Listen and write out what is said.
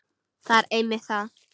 Það er einmitt það.